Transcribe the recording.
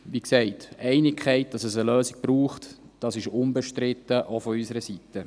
Wie gesagt, die Einigkeit, dass es eine Lösung braucht, ist unbestritten, auch von unserer Seite.